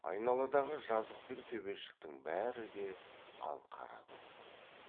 айналадағы жазық пен төбешіктің бәрі де алқара көк